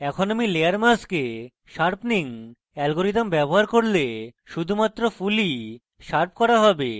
এখন আমি layer mask sharpening algorithm ব্যবহার করলে শুধুমাত্র ফুলই শার্প করা হবে